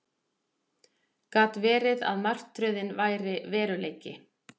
Gat verið að martröðin væri veruleiki?